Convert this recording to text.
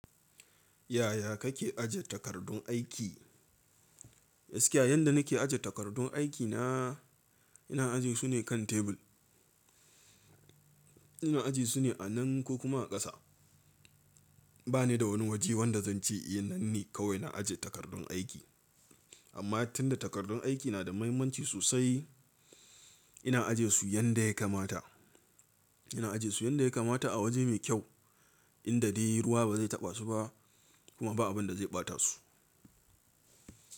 Yaya kake aje takardun aiki? Gaskiya yanda nake aje takardun aikina, ina aje su ne kan tebur. Ina aje su ne a nan ko kuma a ƙasa. Ba ni da wani waje wanda zan ce eh nan ne kawai ina aje takardun aiki. Amma tun da takardun aiki na da mahimmanci sosai, ina aje su yanda ya kamata. Ina aje su yanda ya kamata a waje mai kyau inda dai ruwa ba zai taɓa su ba kuma ba abin da zai ɓata su.